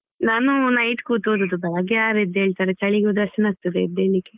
ನಾನು night ಕೂತು ಓದುದು ಬೆಳ್ಳಿಗ್ಗೆ ಯಾರ್ ಎದ್ದ್ ಏಳ್ತಾರೆ ಚಳಿಗೆ ಉದಾಸೀನ ಆಗ್ತದೆ ಎದ್ದ್ ಏಳ್ಲಿಕ್ಕೆ.